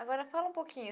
Agora, fala um pouquinho.